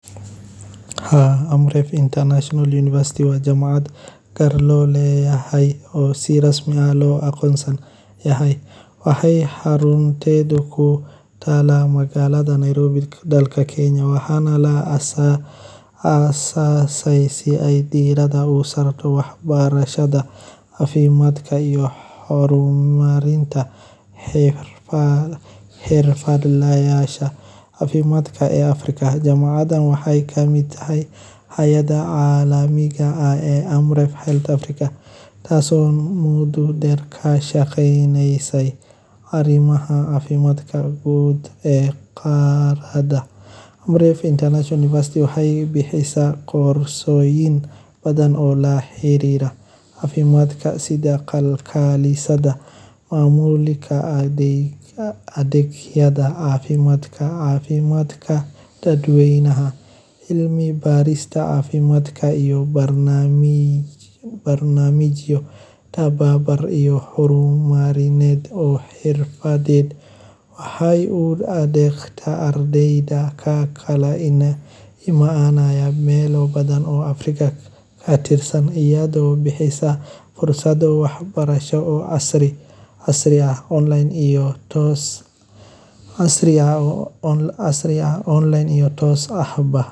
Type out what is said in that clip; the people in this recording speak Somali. Haa, Amref International University waa jaamacad gaar loo leeyahay oo fadhigeedu yahay magaalada Nairobi, dalka Kenya. Jaamacaddan waxaa aas-aastay hay’adda Amref , iyadoo ujeeddadeedu tahay in la bixiyo waxbarasho tayo sare leh oo ku saleysan caafimaadka bulshada, cilmi-baarista, iyo adeegyada caafimaad ee horumarsan. Amref International University waxay diiradda saartaa tababarka xirfadlayaasha caafimaadka, si ay gacan uga geystaan hagaajinta nidaamka daryeelka caafimaadka